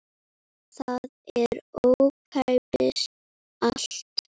Það er ókeypis allt.